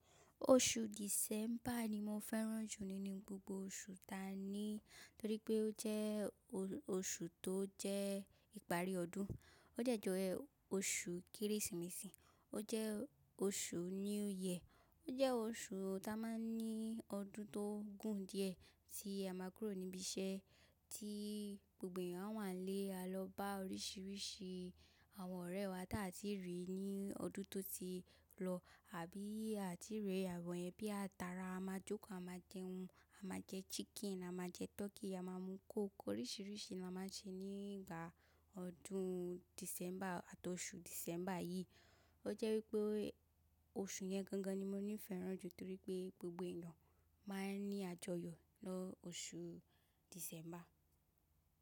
Oṣù December ni mo fẹ́ràn jù nínú gbogbo oṣù ta ni, torí pé ó jẹ́ oṣù tó jẹ́ ìparí ọdún. Ó dẹ̀ jẹ́ oṣù Kérésìmesì, ó jẹ́ oṣù New Year, ó jẹ́ oṣù ta máa ń ní ọdún tó gùn díẹ̀ tí a máa kúrò níbi iṣẹ́ tí gbogbo èyàn á wà ńlé a lọ bá oríṣiríṣi àwọn ọ̀rẹ́ wa tí a ti rí ní ọdún tó ti lọ àbí a ti rí àwọn ẹbí à tara, a máa jókòó, a máa jẹun, a máa jẹ chicken, a máa jẹ turkey, a máa mú coke oríṣiríṣi ni a máa ń ṣe nígbà ọdún December àti oṣù December yìí. Ó jẹ́ wípé oṣù yẹn gangan ni mo ní fẹ́ràn jù torí pé gbogbo èèyàn máa ń ní àjọyọ̀ lọ́ oṣù December.